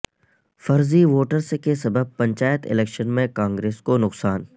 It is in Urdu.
فرضی ووٹرس کے سبب پنچایت الیکشن میں کانگریس کو نقصان